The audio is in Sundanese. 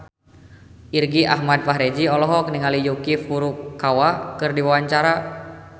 Irgi Ahmad Fahrezi olohok ningali Yuki Furukawa keur diwawancara